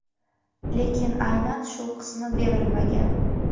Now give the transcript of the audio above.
lekin aynan shu qismi berilmagan.